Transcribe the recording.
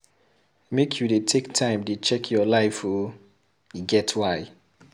Make you dey take time to check your life o, e get why.